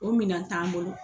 O minɛn t'an bolo.